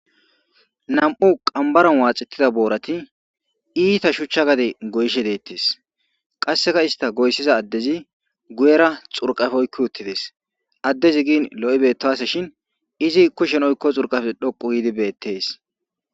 Nam'u qambaran waaxettida boorati iita shuchcha gade goyshe deettes qasseka ista goyssiza addezi guyera xurqafoykki uttides addezi gin lo'i beettase shin izi kushen oykko xurqafe dhoqu giidi beettees.